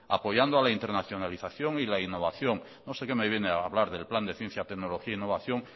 apoyando a la internacionalización y la innovación no sé qué me viene a hablar del plan de ciencia tecnología innovación